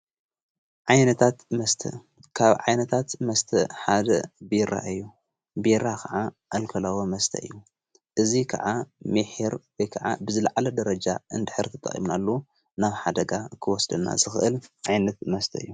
ዓይነታት መስት ካብ ዓይነታት መስተ ሓደ ቢራ እዩ ቢራ ኸዓ ኣልከላዊ መስተይ እዩ እዙይ ከዓ ሜኂር ከዓ ብዝለዓለ ደረጃ እንድኅር ቲ ጣዊምናሉ ናብ ሓደጋ እክወስደና ዝኽእል ዓይነት መስተ እዩ::